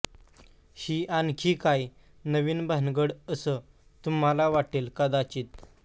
ही आणखी काय नवीन भानगड असं तुम्हाला वाटेल कदाचित